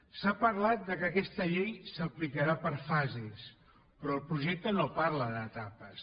s’ha parlat que aquesta llei s’aplicarà per fases però el projecte no parla d’etapes